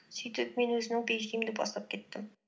сөйтіп мен өзімнің пиэйчди імді бастап кеттім